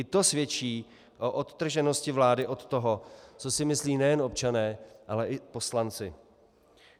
I to svědčí o odtrženosti vlády od toho, co si myslí nejen občané, ale i poslanci.